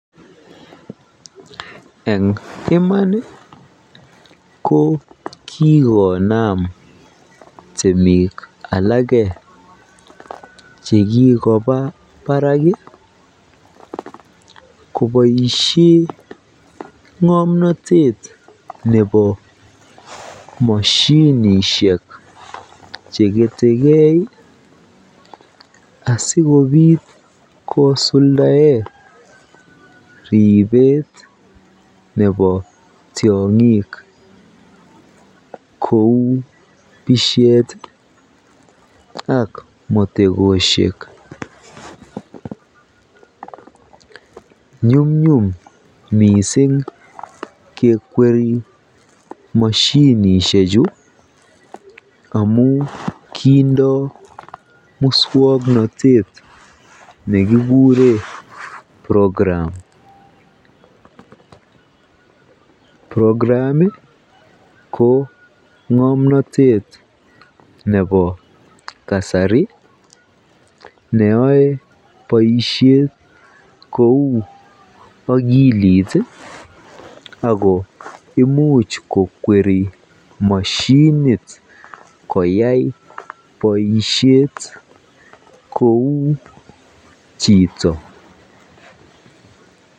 Eng iman ko kikonam temik alak chekikoba barak koboishen ngomnotet nebo moshinishek cheketeke asikobit kosuldaen ribet nebo tiongik kouu tishet ak motekoshek, nyumnyum mising kekweri moshinishechu amun kindo muswoknotet nekikuren program, program ko ngomnotet nebo kasari neyoe boishet kou akilit ak ko imuch kokweri moshinit koyai boishet kou chito.